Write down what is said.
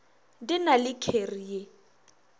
di na le kheri ye